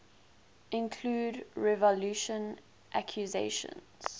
include revulsion accusations